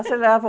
Aceleravam.